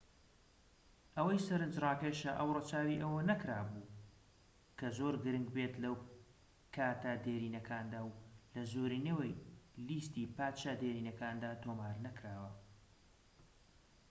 ئەوەی سەرنجڕاکێشە ئەو رەچاوی ئەوە نەکرابوو کە زۆر گرنگ بێت لە کاتە دێرینەکاندا و لە زۆرینەی لیستی پادشا دێرینەکاندا تۆمار نەکراوە